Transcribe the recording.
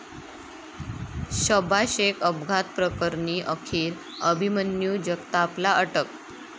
शबा शेख अपघात प्रकरणी अखेर अभिमन्यू जगतापला अटक